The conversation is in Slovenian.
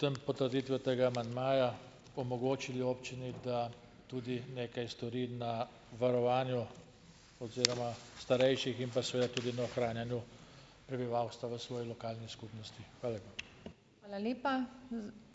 tem, potrditvijo tega amandmaja omogočili občini, da tudi nekaj stori na varovanju oziroma starejših in pa seveda tudi na ohranjanju prebivalstva v svoji lokalni skupnosti. Hvala lepa.